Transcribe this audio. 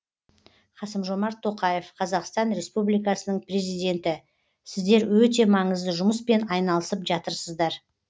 қасым жомарт тоқаев қазақстан республикасының президенті сіздер өте маңызды жұмыспен айналысып жатырсыздар